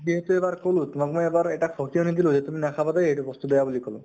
যিহেতু এবাৰ কʼলো । তোমাক মই এবাৰ এটা সকিয়নী দিলো যে তুমি নাখাবা দেই, এইতো বস্তু, বেয়া বুলি কʼলো